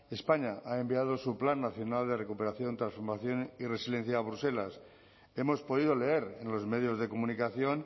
españa ha enviado su plan nacional de recuperación transformación y resiliencia a bruselas hemos podido leer en los medios de comunicación